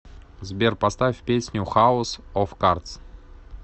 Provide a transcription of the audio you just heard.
сбер поставь песню хаус оф кардс